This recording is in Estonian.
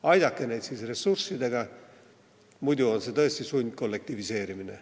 Aidake neid ressurssidega, muidu on see tõesti sundkollektiviseerimine.